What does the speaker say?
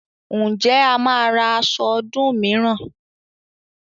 Ǹjẹ́ a máa ra aṣọ ọdún mìíràn?